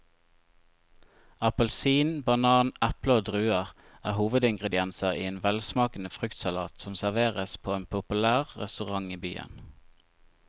Appelsin, banan, eple og druer er hovedingredienser i en velsmakende fruktsalat som serveres på en populær restaurant i byen.